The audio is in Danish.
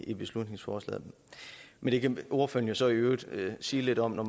i beslutningsforslaget men det kan ordføreren jo så i øvrigt sige lidt om når